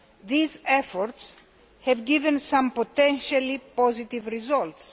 These efforts have given some potentially positive results.